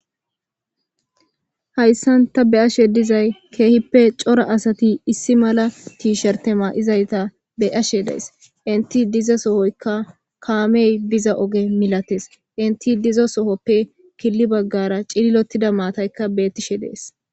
hayssan ta be ashe dizay keehippe cora asati issi mala tiishertema7izayta be ashe dees inti diza sohoykka kaamey biza oge milates inti diza sohoppe killi baggara cililotida maataykka bettishe dees